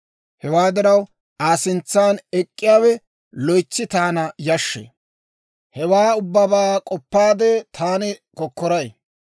Hewaa diraw, Aa sintsan ek'k'iyaawe loytsi taana yashshee; hewaa ubbabaa k'oppaade, taani kokkoray.